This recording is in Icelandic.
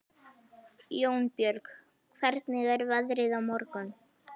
Jónbjörg, hvernig er veðrið á morgun?